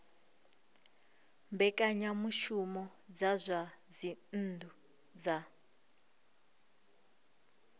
mbekanyamushumo dza zwa dzinnu dza